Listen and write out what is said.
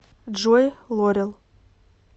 джой лорел